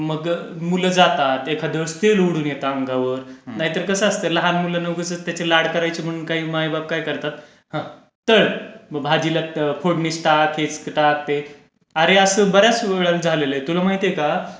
मग मुलं जातात एखाद तेल उडून येतं अंगावर नाहीतर कसं असतं, लहान मुलांचे उगीच लाड करायचे म्हणून आई बाप काय करतात, तळ, मग भाजीला फोडणीच टाक, हेच टाक, अरे असं बर् याच वेळेला झालेलं आहे तुला माहितीये का,